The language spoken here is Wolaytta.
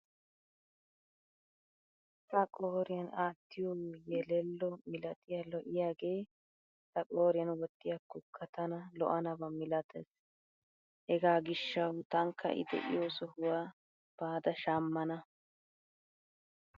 Ha qooriyan aattiyo yelello milatiya lo"iyagee ta qooriyan wottiyakkokka tana lo"anaba milatees. Hagaa gishshawu tankka I de'iyo sohuwa baada shammana.